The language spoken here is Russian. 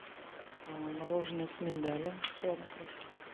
мороженое с миндалем в шоколадной крошке